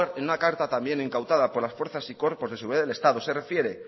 en una carta también incautada por las fuerzas y cuerpos de seguridad del estado se refiere